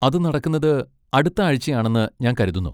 അത് നടക്കുന്നത് അടുത്ത ആഴ്ച ആണെന്ന് ഞാൻ കരുതുന്നു.